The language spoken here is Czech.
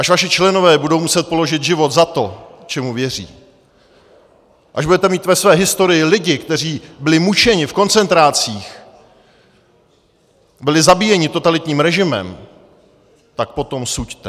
Až vaši členové budou muset položit život za to, čemu věří, až budete mít ve své historii lidi, kteří byli mučeni v koncentrácích, byli zabíjeni totalitním režimem, tak potom suďte.